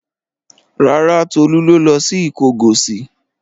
Rárá, Tolú ló lọ sí Ìkọgọ̀sì.